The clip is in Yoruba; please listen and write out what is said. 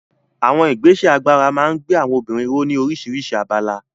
Àwọn ìgbésẹ̀ agbára máa ń gbé àwọn obìnrin ró ní oríṣiríṣi abala.